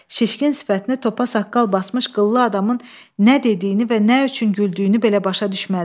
Şişkin sifətini topa saqqal basmış qıllı adamın nə dediyini və nə üçün güldüyünü belə başa düşmədi.